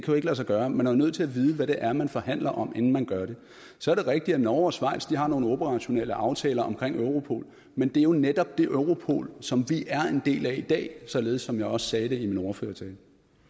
jo ikke lade sig gøre man er jo nødt til at vide hvad det er man forhandler om inden man gør det så er det rigtigt at norge og schweiz har nogle operationelle aftaler omkring europol men det er jo netop det europol som vi er en del af i dag således som jeg også sagde det i min ordførertale